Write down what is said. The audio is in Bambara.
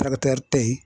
te yen